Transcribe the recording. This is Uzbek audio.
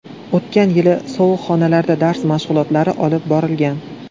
O‘tgan yili sovuq xonalarda dars mashg‘ulotlari olib borilgan.